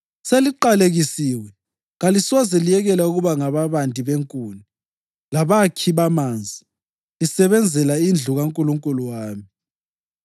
Seliqalekisiwe: kalisoze liyekele ukuba ngababandi benkuni labakhi bamanzi lisebenzela indlu kaNkulunkulu wami.”